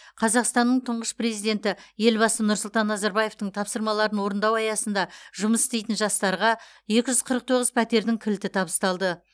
қазақстанның тұңғыш президенті елбасы нұрсұлтан назарбаевтың тапсырмаларын орындау аясында жұмыс істейтін жастарға екі жүз қырық тоғыз пәтердің кілті табысталды